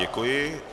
Děkuji.